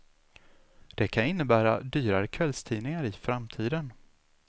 Det kan innebära dyrare kvällstidningar i framtiden.